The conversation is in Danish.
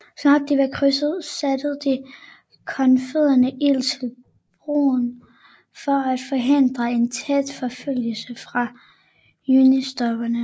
Så snart de var krydset satte de konfødererede ild til broerne for at forhindre en tæt forfølgelse fra unionstropperne